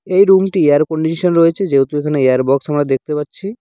এই রুমটি -টি এয়ার কন্ডিশন রয়েছে যেহেতু এখানে এয়ারবক্স আমরা দেখতে পাচ্ছি।